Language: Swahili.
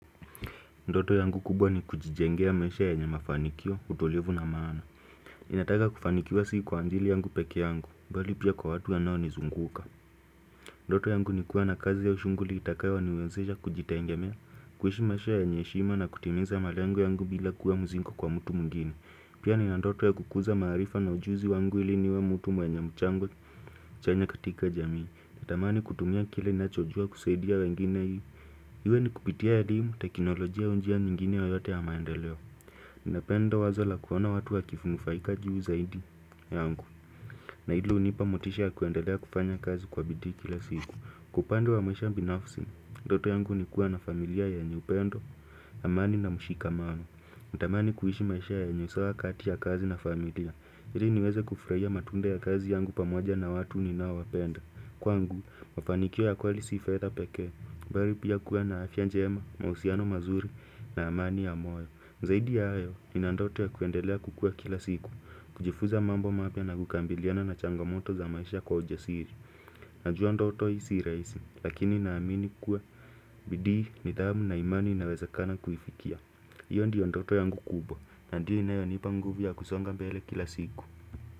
Ndoto yangu kubwa ni kujijengea maisha yenye mafanikio utulivu na maana inataka kufanikiwa sii kwa ajili yangu peke yangu Bali pia kwa watu wanao nizunguka Ndoto yangu ni kuwa na kazi au shughuli itakayo niwezesha kujitegemea kuishi maisha yenye heshima na kutimiza malengo yangu bila kuwa mzigo kwa mtu mwingine Pia nina ndoto ya kukuza maarifa na ujuzi wangu ili niwe mtu mwenye mchango chanya katika jamii Natamani kutumia kile ninachojua kusaidia wengine hii Iwe ni kupitia elimu teknolojia au njia nyingine yoyote ya maendeleo. Ninapenda wazo la kuona watu wakinufaika juu zaidi yangu. Na hilo hunipa motisha ya kuendelea kufanya kazi kwa bidii kila siku. Kwa upande wa maisha binafsi, ndoto yangu ni kuwa na familia yenye upendo, amani na mshikamano. Natamani kuishi maisha yenye usawa kati ya kazi na familia. Ili niweze kufurahia matunda ya kazi yangu pamoja na watu ninaowapenda. Kwangu, mafanikio ya kweli si faida pekee, bali pia kuwa na afya njema, mahusiano mazuri na amani ya moyo. Zaidi ya hayo, nina ndoto ya kuendelea kukua kila siku, kujifuza mambo mapya na kukabiliana na changomoto za maisha kwa ujasiri. Najua ndoto hii si rahisi, lakini naamini kuwa, bidii nidhamu na imani inawezakana kuifikia. Iyo ndiyo ndoto yangu kubwa, na ndiyo inayonipa nguvu ya kusonga mbele kila siku.